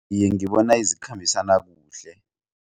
Iye, ngibona zikhambisana kuhle.